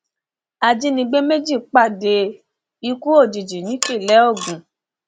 ajínigbé méjì pàdé ikú òjijì nípínlẹ ogun